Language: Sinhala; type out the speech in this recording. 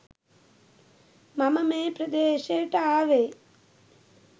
මම මේ ප්‍රදේශයට ආවේ.